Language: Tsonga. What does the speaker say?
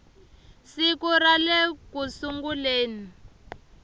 siku ra le ku sunguleni